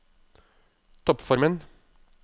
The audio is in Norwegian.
toppformen